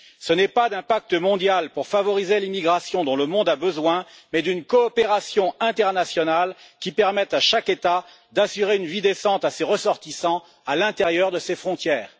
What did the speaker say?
Ce n'est pas d'un pacte mondial pour favoriser l'immigration que le monde a besoin, mais d'une coopération internationale qui permette à chaque État d'assurer une vie décente à ses ressortissants à l'intérieur de ses frontières.